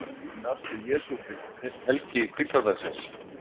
Þetta kom líka fram í afstöðu Jesú til helgi hvíldardagsins.